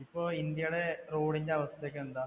ഇപ്പോ India യുടെ road ന്‍ടെ അവസ്ഥക്കെ എന്താ?